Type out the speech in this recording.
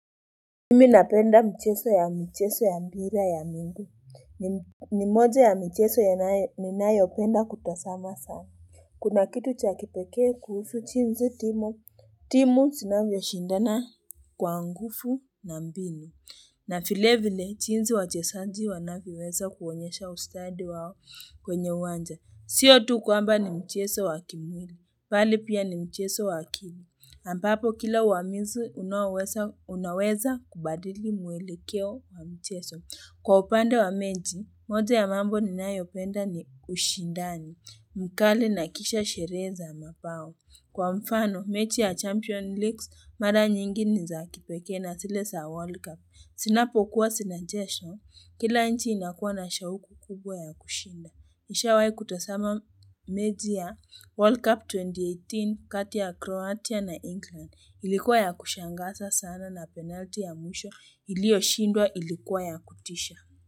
Mimi napenda mchezo ya mpira ya miguu ni moja ya michezo ninayo penda kutazama sana, kuna kitu cha kipekee kuhusu jinsi timu zinavyoshindana Kwa nguvu na mbinu na vile vile jinsi wachezaji wanavyoweza kuonyesha ustadi wao kwenye uwanja, siyo tu kwamba ni mchezo wa kimwili, bali pia ni mchezo wa akili. Ambapo kila uamuzi unaweza kubadili mwelekeo wa mchezo. Kwa upande wa mechi, moja ya mambo ninayopenda ni ushindani, mkali na kisha sherehe mabao. Kwa mfano, mechi ya Champions League, mara nyingi ni za kipekee na zile saa World Cup. Zinapokuwa zinachezwa, kila nchi inakuwa na shauku kubwa ya kushinda. Nishawai kutazama mechi ya World Cup 2018 kati ya Croatia na England, ilikuwa ya kushangaza sana na penalti ya mwisho ilioshindwa ilikuwa ya kutisha.